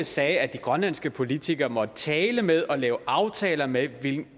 sagde at de grønlandske politikere måtte tale med og lave aftaler med de